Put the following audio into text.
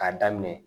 K'a daminɛ